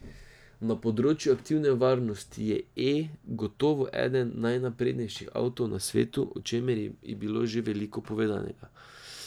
Na področju aktivne varnosti je E gotovo eden najnaprednejših avtov na svetu, o čemer je bilo že veliko povedanega.